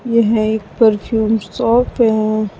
यह है एक परफ्यूम शॉप है।